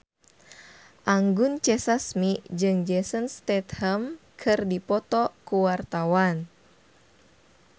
Anggun C. Sasmi jeung Jason Statham keur dipoto ku wartawan